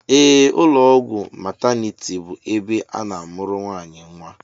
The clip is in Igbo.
Ee, ụlọọgwụ mataniti bụ ebe a na-amụrụ nwaanyị nnwa